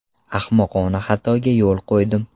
Ahmoqona xatoga yo‘l qo‘ydim.